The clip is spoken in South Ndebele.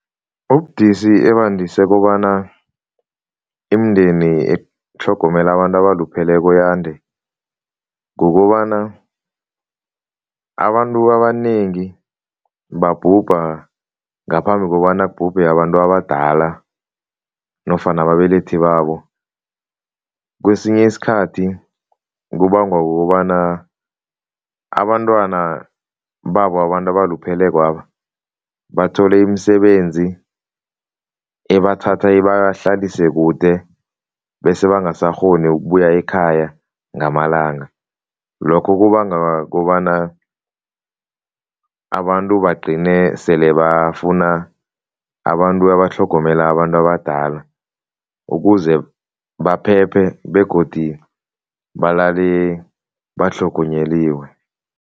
Ubudisi ebandise kobana imindeni etlhogomela abantu abalupheleko yande kukobana, abantu abanengi babhubha ngaphambi kobana kubhubhe abantu abadala nofana ababelethi babo. Kwesinye isikhathi kubangwa kukobana abantwana babo abantu abaluphelekwaba bathole imisebenzi ebathatha ibahlalise kude bese bangasakghoni ukubuya ekhaya ngamalanga. Lokho kubanga kobana abantu bagcine sele bafuna abantu abatlhogomela abantu abadala ukuze baphephe begodi balale batlhogonyeliwe.